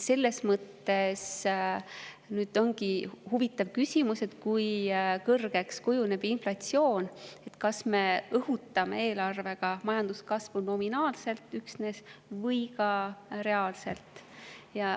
Selles mõttes ongi huvitav küsimus, kui kõrgeks kujuneb inflatsioon ja kas me õhutame eelarvega majanduskasvu üksnes nominaalselt või ka reaalselt.